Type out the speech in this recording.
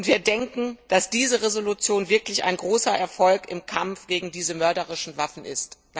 Wir denken, dass diese Entschließung wirklich ein großer Erfolg im Kampf gegen diese mörderischen Waffen ist.